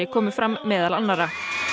komu fram meðal annarra